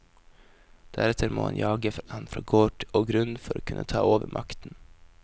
Deretter må han jage han fra gård og grunn for å kunne ta over makten.